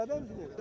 Bərabər?